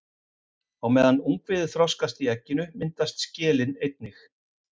Á meðan ungviðið þroskast í egginu myndast skelin einnig.